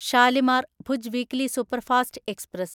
Shalimar Bhuj weekly superfast express